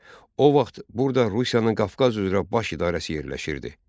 O vaxt burada Rusiyanın Qafqaz üzrə baş idarəsi yerləşirdi.